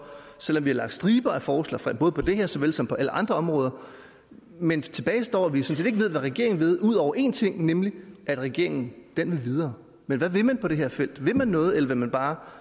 selv om vi har lagt striber af forslag frem både på det her så vel som på alle andre områder men tilbage står at vi sådan set ikke ved hvad regeringen vil ud over en ting nemlig at regeringen vil videre men hvad vil man på det her felt vil man noget eller vil man bare